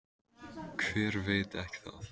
Hver veit ekki það?